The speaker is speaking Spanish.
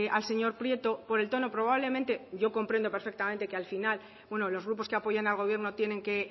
al señor prieto por el tono probablemente yo comprendo perfectamente que al final uno de los grupos que apoyan al gobierno